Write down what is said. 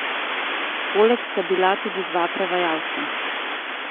Poleg sta bila tudi dva prevajalca.